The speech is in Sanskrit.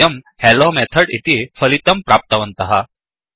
वयं हेलोमेथोड् इति फलितम् प्राप्तवन्तः